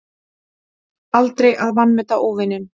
Aldrei að vanmeta óvininn.